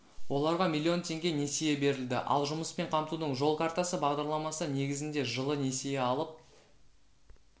оларға миллион теңге несие берілді ал жұмыспен қамтудың жол картасы бағдарламасы негізінде жылы несие алып